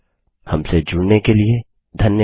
हमसे जुड़ने के लिए धन्यवाद